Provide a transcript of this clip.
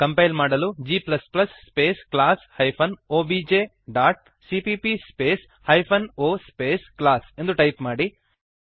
compile ಮಾಡಲು g space class hyphen OBJ dot CPP space hyphen o space class ಎಂದು type ಮಾಡಿರಿ